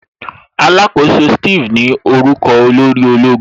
Alakoso Steve ní orúkọ olórí ológun